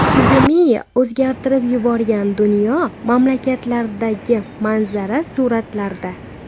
Pandemiya o‘zgartirib yuborgan dunyo mamlakatlaridagi manzara suratlarda.